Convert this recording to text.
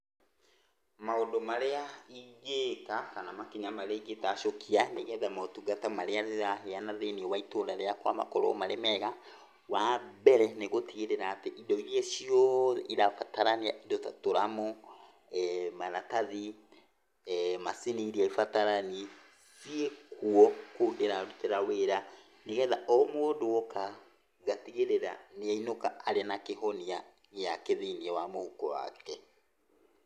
Maũndũ marĩa ingĩka, kana makinya marĩa ingĩtacũkia nĩgetha motungata marĩa ndĩraheyana thiinĩ wa itũra rĩakwa makorwo marĩ mega, wambere nĩ gũtigĩrĩra atĩ indo iria ciothe cirabatarania, indo ta tũramũ, maratathi, macini iria ĩibatarani ciĩkuo, kũu ndĩrarutĩra wĩra. Nĩgetha o mũndũ oka ngatigĩrĩra nĩainũka ena kĩhonia gĩake thĩinĩ wa mũhuko wake.